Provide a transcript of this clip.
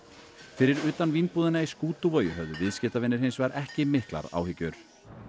fyrir utan Vínbúðina í Skútuvogi höfðu viðskiptavinir hins vegar ekki miklar áhyggjur